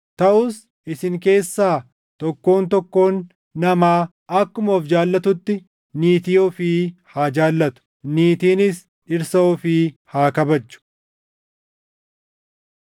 Taʼus isin keessaa tokkoon tokkoon namaa akkuma of jaallatutti niitii ofii haa jaallatu; niitiinis dhirsa ofii haa kabajju.